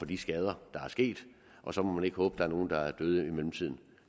de skader der er sket og så må man ikke håbe at der er nogen der er døde i mellemtiden